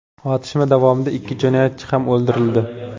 Otishma davomida ikki jinoyatchi ham o‘ldirildi.